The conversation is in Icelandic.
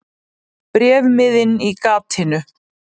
Bréfmiðinn í gatinu.